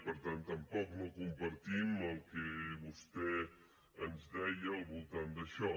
per tant tampoc no compartim el que vostè ens deia al voltant d’això